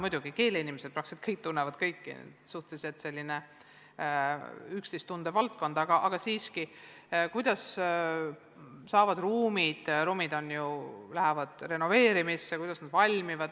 Muidugi keeleinimesed tunnevad peaaegu kõiki, see on selline üksteist suhteliselt hästi tundjate valdkond, aga siiski.